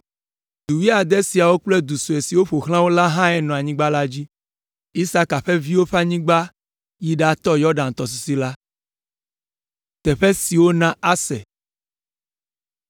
Du wuiade siawo kple du sue siwo ƒo xlã wo lae nɔ anyigba la dzi. Isaka ƒe viwo ƒe anyigba yi ɖatɔ Yɔdan tɔsisi la.